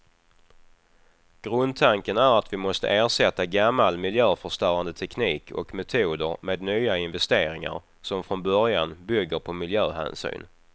Grundtanken är att vi måste ersätta gammal miljöförstörande teknik och metoder med nya investeringar, som från början bygger på miljöhänsyn.